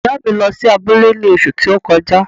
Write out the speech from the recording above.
ìyá à mi lọ́ sí abule ní òṣù ti o kọjá.